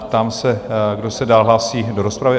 Ptám se, kdo se dál hlásí do rozpravy?